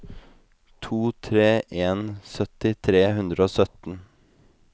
tre to en en sytti tre hundre og sytten